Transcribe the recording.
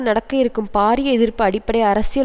நடக்க இருக்கும் பாரிய எதிர்ப்பு அடிப்படை அரசியல்